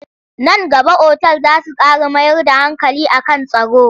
Nan gaba otal za su ƙara mayar da hankali a kan tsaro.